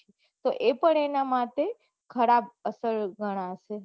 તો એ પન એના માટે ખરાબ અસર ગણાય સે